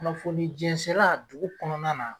Kunnafoni jɛnsɛla dugu kɔnɔna na